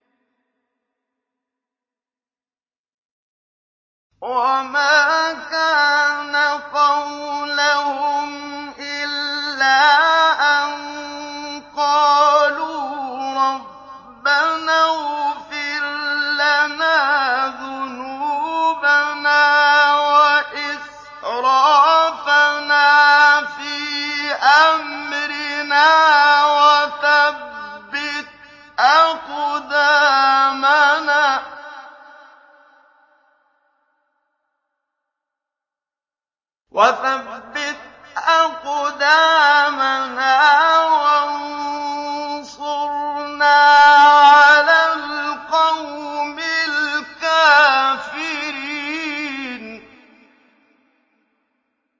وَمَا كَانَ قَوْلَهُمْ إِلَّا أَن قَالُوا رَبَّنَا اغْفِرْ لَنَا ذُنُوبَنَا وَإِسْرَافَنَا فِي أَمْرِنَا وَثَبِّتْ أَقْدَامَنَا وَانصُرْنَا عَلَى الْقَوْمِ الْكَافِرِينَ